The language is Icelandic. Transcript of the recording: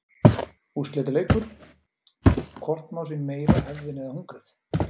Úrslitaleikur: Hvort má sín meira hefðin eða hungrið?